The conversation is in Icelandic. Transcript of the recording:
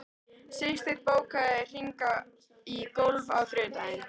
Sigsteinn, bókaðu hring í golf á þriðjudaginn.